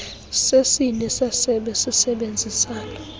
sesini sesebe sisebenzisana